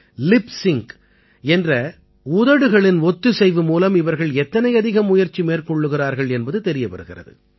lip sync என்ற உதடுகளின் ஒத்திசைவு மூலம் இவர்கள் எத்தனை அதிகம் முயற்சி மேற்கொள்கிறார்கள் என்பது தெரிய வருகிறது